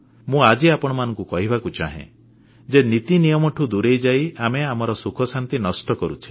ମୁଁ ଆଜି ଆପଣମାନଙ୍କୁ କହିବାକୁ ଚାହେଁ ଯେ ନୀତିନିୟମଠୁ ଦୂରେଇଯାଇ ଆମେ ଆମର ସୁଖଶାନ୍ତି ନଷ୍ଟ କରୁଛେ